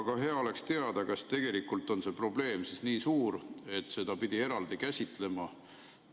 Aga hea oleks teada, kas tegelikult on see probleem nii suur, et seda pidi eraldi käsitlema.